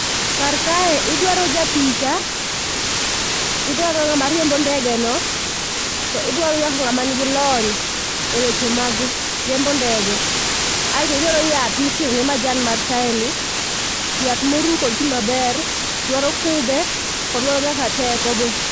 Kar kae idwaro japicha, idwaro ng'ama riembo ndege no to idwaro nyaka ng'ama nigi lony eweche mag riembo ndege kaeto idwaro yath mikiro ne majan mar chaeni, yath ma oruw kod pi maber. Odwaro kube kod oduaro nyaka teko be.